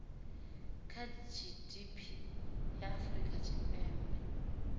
kha gdp ya afrika tshipembe